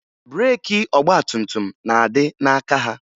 Breeki ọgbatumtum na-adị n'aka ha